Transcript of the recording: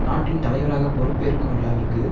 நாட்டின் தலைவராக பொறுப்பேற்கும் விழாவிற்கு